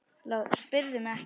LÁRUS: Spyrðu mig ekki!